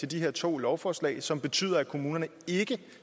de her to lovforslag som betyder at kommunerne ikke